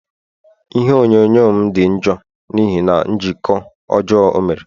Ihe onyonyo m di njọ n'ihi na njikọ ọjọọ o mere